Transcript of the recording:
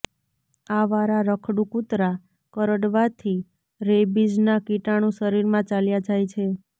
આવારા રખડુ કૂતરા કરડવાથી રૈબીઝના કીટાણુ શરીરમાં ચાલ્યા જાય છે